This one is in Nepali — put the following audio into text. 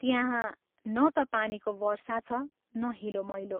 त्यहाँ न ता पानीको वर्षा छ न हिलो मैलो।